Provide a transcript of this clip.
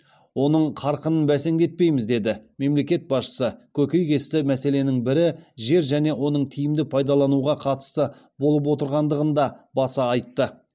оның қарқынын бәсеңдетпейміз деді мемлекет басшысы көктейтесті мәселенің бірі жер және оның тиімді пайдалануға қатысты болып отырғандығын да баса айтты